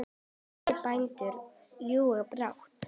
Slætti bændur ljúka brátt.